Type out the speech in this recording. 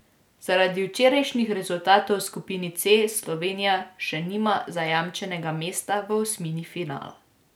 Zaradi včerajšnjih rezultatov v skupini C Slovenija še nima zajamčenega mesta v osmini finala.